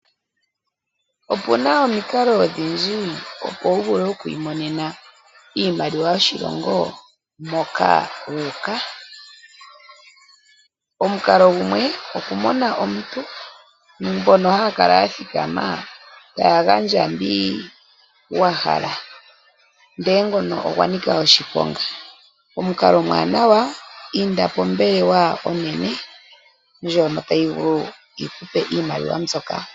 Opuna omikalo odhindji opo wu vule oku imonena iimaliwa yoshilongo moka wu uka. Omukalo gumwe okumona omuntu mbono haya kala ya thikama taya gandja mbi wa hala, ihe ngono ogwa nika oshiponga. Omukalo omuwanawa inda pombelewa onene ndjono tayi vulu yi ku pe iimaliwa mbyoka.